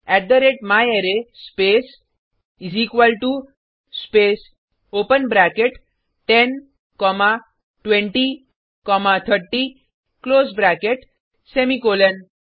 eighty थे रते म्यारे space is equal to space open bracket ten comma twenty comma thirty close bracket semicolon